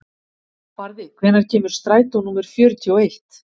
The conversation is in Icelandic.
Barði, hvenær kemur strætó númer fjörutíu og eitt?